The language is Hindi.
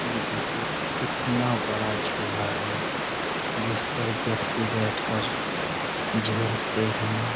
ये देखिये कितना बड़ा झूला है जिस पर व्यक्ति बैठकर हैं।